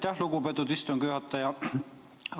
Aitäh, lugupeetud istungi juhataja!